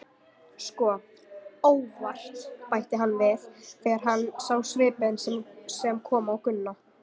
Sko, ÓVART, bætti hann við þegar hann sá svipinn sem kom á Gunna.